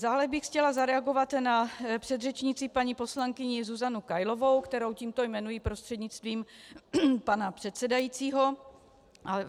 Dále bych chtěla zareagovat na předřečnici paní poslankyni Zuzanu Kailovou, kterou tímto jmenuji prostřednictvím pana předsedajícího.